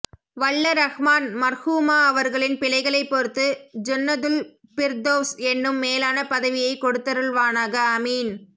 வல்ல ரஹ்மான் மர்ஹூமா அவர்களின் பிழைகளை பொருத்து ஜன்னதுல்பிர்தொவ்ஸ் என்னும் மேலான பதவியை கொடுதருல்வனக அமீன்